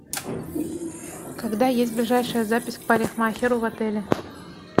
когда есть ближайшая запись к парикмахеру в отеле